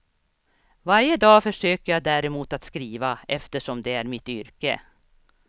Varje dag försöker jag däremot att skriva, eftersom det är mitt yrke.